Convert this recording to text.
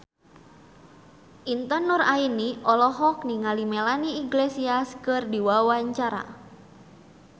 Intan Nuraini olohok ningali Melanie Iglesias keur diwawancara